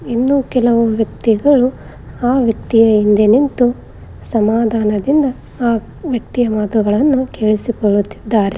ಇನ್ನು ಕೆಲವು ವ್ಯಕ್ತಿಗಳು ಆ ವ್ಯಕ್ತಿಯ ಮುಂದೆ ನಿಂತು ಸಮಾಧಾನದಿಂದ ಆ ವ್ಯಕ್ತಿಯ ಮಾತುಗಳನ್ನು ಕೇಳಿಸಿಕೊಳ್ಳುತ್ತಿದ್ದಾರೆ.